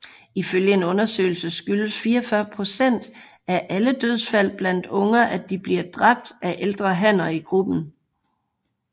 Ifølge en undersøgelse skyldes 44 procent af alle dødsfald blandt unger at de bliver dræbt af ældre hanner i gruppen